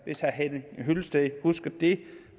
hvis herre henning hyllested husker det